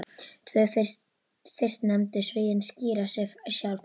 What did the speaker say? Tvö fyrstnefndu sviðin skýra sig sjálf.